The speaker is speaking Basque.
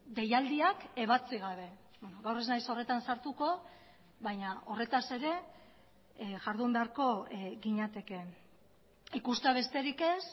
deialdiak ebatzi gabe gaur ez naiz horretan sartuko baina horretaz ere jardun beharko ginatekeen ikustea besterik ez